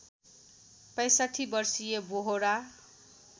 ६५ वर्षीय बोहरा